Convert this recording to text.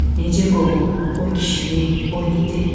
Necə qovum o kişini, o iti?